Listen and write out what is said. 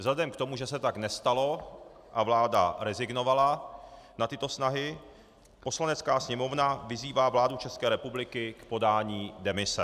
Vzhledem k tomu, že se tak nestalo a vláda rezignovala na tyto snahy, Poslanecká sněmovna vyzývá vládu České republiky k podání demise.